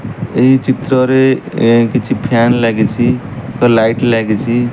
ଏହି ଚିତ୍ରରେ କିଛି ଫ୍ୟାନ ଲାଗିଚି ଏକ ଲାଇଟ୍ ଲାଗିଚି।